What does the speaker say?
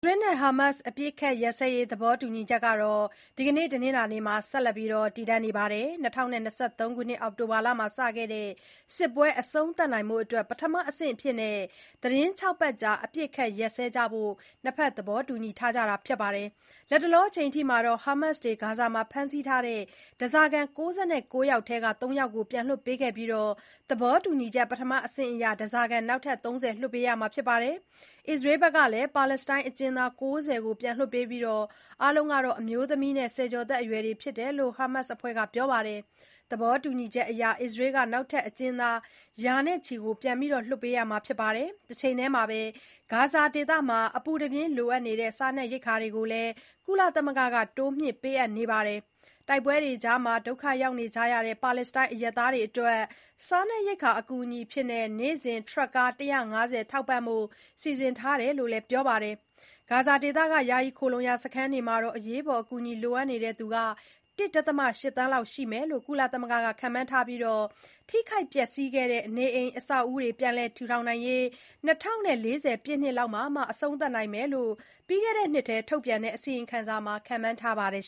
ရေးနဲ့ ဟားမတ်စ် အပစ်အခတ်ရပ်စဲရေး သဘောတူညီချက်ဟာ ဒီကနေ့ တနင်္လာနေ့မှာ ဆက်လက် တည်တံ့နေပါတယ်။ ၂၀၂၃ ခုနှစ် အောက်တိုဘာလမှာ စခဲ့တဲ့စစ်ပွဲ အဆုံးသတ်နိုင်ရေး ပထမအဆင့်အဖြစ် သီတင်း ၆ ပတ်ကြာ အပစ်အခတ် ရပ်စဲဖို့ ၂ ဖက် သဘောတူထားကြတာပါ။ လတ်တလောအချိန်အထိ ဟားမတ်စ်တွေ ဂါဇာမှာ ဖမ်းဆီးထားတဲ့ ဓားစာခံ ၉၉ ယောက်ထဲက ၃ ယောက်ကို ပြန်လွှတ်ပေးခဲ့ပြီး သဘောတူညီချက် ပထမအဆင့်အရ ဓားစာခံနောက်ထပ် ၃၀ လွှတ်ပေးရမှာပါ။ အစ္စရေးကလည်း ပါလက်စတိုင်းအကျဉ်းသား ၉၀ ကို ပြန်လွှတ်ပေးပြီး၊ အားလုံးဟာ အမျိုးသမီးနဲ့ ဆယ်ကျော်သက်အရွယ်တွေ ဖြစ်တယ်လို့လည်း ဟားမတ်စ်အဖွဲ့က ပြောပါတယ်။ သဘောတူညီချက်အရ အစ္စရေးက နောက်ထပ် အကျဉ်းသား ရာနဲ့ချီ ပြန်လွှတ်ပေးရမှာပါ။ တချိန်တည်းမှာပဲ ဂါဇာဒေသမှာ အပူတပြင်း လိုအပ်နေတဲ့ စားနပ်ရိက္ခာတွေကိုလည်း ကုလသမဂ္ဂက တိုးမြှင့်ပေးအပ်နေပါတယ်။ တိုက်ပွဲတွေကြား ဒုက္ခရောက်ကြရတဲ့ ပါလက်စတိုင်း အရပ်သားတွေအတွက် စာနးပ်ရိက္ခာ အကူအညီအဖြစ် နေ့စဉ် ထရပ်ကား ၁၅၀ နဲ့ ထောက်ပံ့ဖို့ စီစဉ်ထားတယ်လို့လည်း ပြောပါတယ်။ ဂါဇာဒေသက ယာယီခိုလှုံရာ စခန်းတွေမှာ အရေးပေါ် အကူအညီ လိုအပ်နေသူ ၁.၈ သန်းလောက် ရှိမယ်လို့ ကုလသမဂ္ဂက ခန့်မှန်းထားပြီး ထိခိုက်ပျက်စီးခဲ့တဲ့ နေအိမ်အဆောက်အဦးတွေ ပြန်လည်ထူထောင်ရေး ၂၀၄၀ ပြည့်နှစ်လောက်မှ အပြီးသတ်နိုင်လိမ့်မယ်လို့လည်း ပြီးခဲ့တဲ့နှစ်က ထုတ်ပြန်တဲ့ အစီရင်ခံစာမှာ ခန့်မှန်းထားပါတယ်